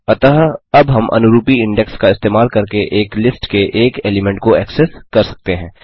अतः अब हम अनुरूपी इंडेक्स का इस्तेमाल करके एक लिस्ट के एक एलीमेंट को एक्सेस कर सकते हैं